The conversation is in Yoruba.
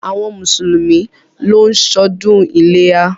Àwọn mùsùlùmí ló ń ṣọdún iléyá.